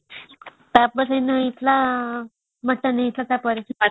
ତାପରେ ଆମର ହେଇଥିଲା ମଟନ ହେଇଥିଲା ତା ପରେ